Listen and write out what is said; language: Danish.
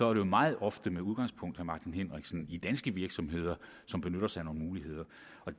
er det meget ofte med udgangspunkt martin henriksen i danske virksomheder som benytter sig af nogle muligheder